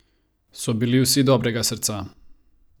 So bili vsi dobrega srca?